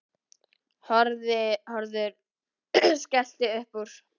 Hörður skellti upp úr.